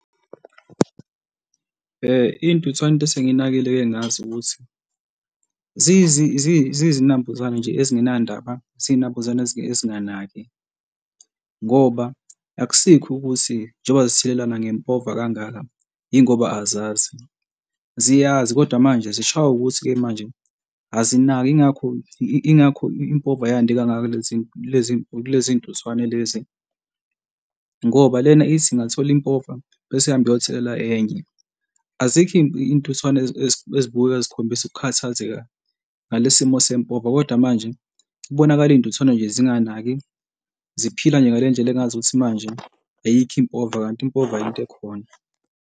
Iy'ntuthwane into esengiyinakekele ngazo ukuthi ziyizinambuzane nje, ezingenandaba, ziyinambuzane ezinganaki ngoba akusikho ukuthi njengoba zithelelana ngempova kangaka, yingoba azazi, ziyazi kodwa manje zishaywa ukuthi-ke manje azinaki. Yingakho Ingakho impova yande kangaka kulezi y'ntuthwane lezi ngoba lena ithi ingathola impova bese ihambe iyothelela enye. Azikho iy'ntuthwane ezibukeka zikhombisa ukukhathazeka ngalesi simo sempova, kodwa manje kubonakale iy'ntuthwane nje, zinganaki ziphila nje ngale ndlela engazukuthi manje ayikho impova kanti impova yinto ekhona.